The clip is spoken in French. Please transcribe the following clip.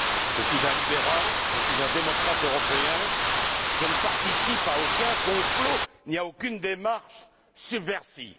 Je suis un libéral, je suis un démocrate européen, je ne participe à aucun complot ni à aucune démarche subversive.